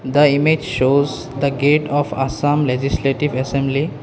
The image shows the gate of assam legislative assembly.